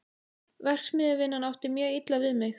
Verksmiðjuvinnan átti mjög illa við mig.